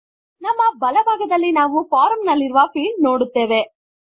ನಮ್ಮ ಬಲ ಭಾಗದಲ್ಲಿ ನಾವು ಫಾರ್ಮ್ ನಲ್ಲಿರುವ ಫೀಲ್ಡ್ ನೋಡುತ್ತೇವೆ